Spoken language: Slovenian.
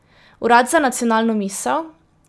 Urad za nacionalno misel?